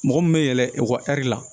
Mɔgɔ min bɛ yɛlɛn ekɔli la